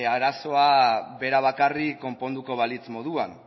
arazoa bera bakarrik konponduko balitz moduan